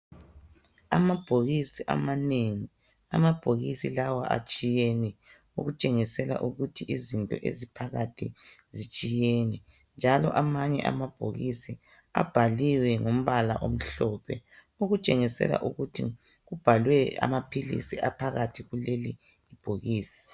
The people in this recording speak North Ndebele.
Amabhokisi amanengi, amabhokisi lawa atshiyene okutshengisela ukuthi izinto eziphakathi zitshiyene njalo amanye amabhokisi abhaliwe ngombala omhlophe okutshengisela ukuthi kubhalwe amaphilisi aphakathi kuleli bhokisi.